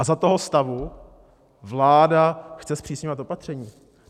A za toho stavu vláda chce zpřísňovat opatření?